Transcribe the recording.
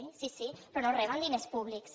sí sí però no reben diners públics